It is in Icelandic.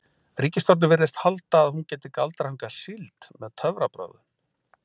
Ríkisstjórnin virðist halda að hún geti galdrað hingað síld með töfrabrögðum.